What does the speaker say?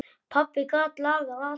Pabbi gat lagað allt.